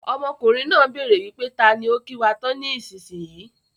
Ọmọkùnrin náà béèrè wípé taani ó kí wá tán ni ìsinsìnyí í.